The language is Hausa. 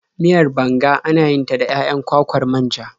Miyar banga ana yin ta da 'ya'yan kwakwar manja.